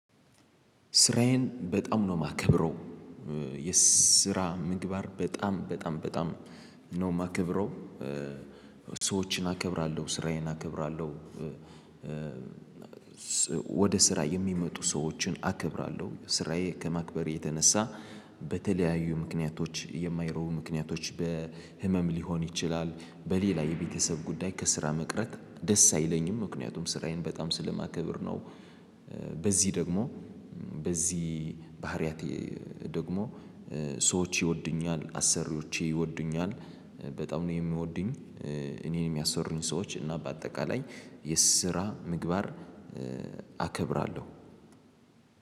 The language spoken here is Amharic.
ስራዬን በጣም ነው የማከብረው፤ የስራ ምግባር በጣም፣ በጣም፣ በጣም ነው የማከብረው። ሰዎችን አከብራለሁ፤ ስራዬን አከብራለሁ። ወደ ስራ የሚመጡ ሰዎችን አከብራለሁ፤ ስራዬን ከማክበር የተነሳ፣ በተለያዩ ምክንያቶች የማይቀሩ ምክንያቶች—በሕመም ሊሆን ይችላል፣ በሌላ የቤተሰብ ጉዳይ—ከሥራ መቅረት ደስ አይለኝም፤ ምክንያቱም ስራዬን በጣም ስለማከብር ነው። በዚህ ደግሞ፣ በዚህ ባሕርያቴ ደግሞ ሰዎች ይወዱኛል፤ አሠሪዎቼ ይወዱኛል፤ በጣም ነው የሚወዱኝ እኔን የሚያሠሩኝ ሰዎች፤ እና በአጠቃላይ የስራ ምግባር አከብራለሁ።